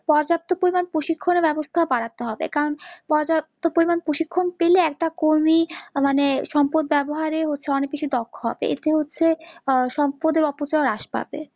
পর্যাপ্ত পরিমাণ প্রশিক্ষণ এর ব্যাবস্থা ও বাড়াতে হবে কারণ পর্যাপ্ত পরিমাণ প্রশিক্ষণ পেলে একটা কর্মী মানে সম্পদ ব্যাবহারে হচ্ছে অনেক কিছু দক্ষ হবে, এতে হচ্ছে সম্পদের অপচয়ই হ্রাস পাবে